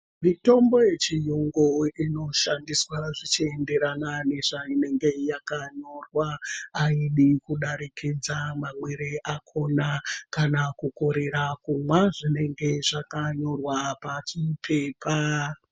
Mitombo yechiyungu inoshandiswa zvichienderana nezvainenge yakanyorwa. Aidi kudarikidza mamwire akona kana kukorera kumwa zvinenge zvakanyorwa pachipepa.